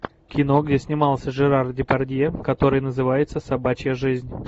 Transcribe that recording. кино где снимался жерар депардье который называется собачья жизнь